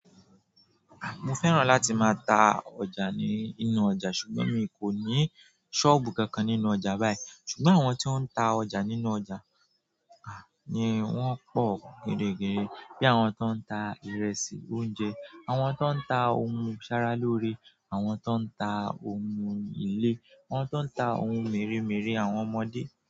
Mo fẹ́ràn láti máa ta ọjà nínú ọjà ṣùgbọ́n mi kò ní sọ́ọ̀bù kankan nínú ọjà báyìí. Ṣùgbọ́n àwọn tí ó ń ta ọjà nínú ọjà ni wọ́n pọ̀ gidi gan. Bí i àwọn tó ń ta ìrẹsì, oúnjẹ, àwọn tó ń ta ohun ìṣaralóore, àwọn tó ń ta ohun ilé, àwọn tó ń ta ohun mèremère àwọn ọmọdé.